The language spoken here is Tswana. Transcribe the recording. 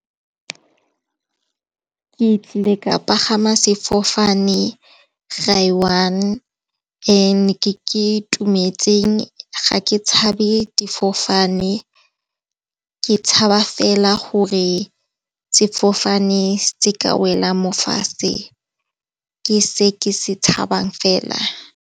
Ke tlile ka pagama sefofane gae one. Ke itumetseng ga ke tshabe fofane ke tshaba fela gore sefofane se ka wela mo fatshe ke se ke se tshabang fela.